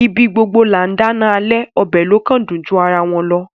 Ibi gbogbo là ńdá iná alẹ‌, ọbẹ‌ ló kàn dùn ju ara wọn lọ.